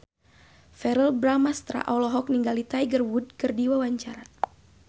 Verrell Bramastra olohok ningali Tiger Wood keur diwawancara